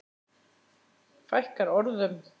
Fækkar orðum?